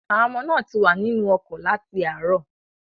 Àwọn ọmọ náà ti wà nínú ọkọ̀ láti àárọ̀.